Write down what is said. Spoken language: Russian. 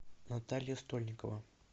наталья стольникова